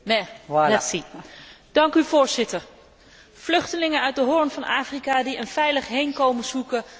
Vluchtelingen uit de Hoorn van Afrika die een veilig heenkomen zoeken, reizen vaak via Egypte naar Israël.